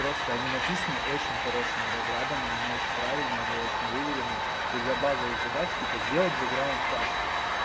просто они написаны очень хорошими разрабами и они очень правильные и они очень выверены и для базовых задач типа сделать бэграунд аске